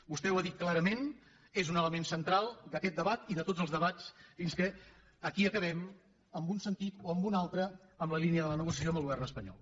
vostè ho ha dit clarament és un element central d’aquest debat i de tots els debats fins que aquí acabem en un sentit o en un altre en la línia de la negociació amb el govern espanyol